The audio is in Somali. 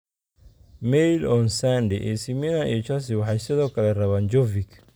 (Mail on Sunday) AC Milan iyo Chelsea waxay sidoo kale rabaan Jovic.